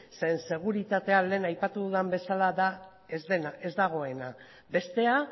zeren seguritate lehen aipatu dudan bezala da ez dena ez dagoena bestea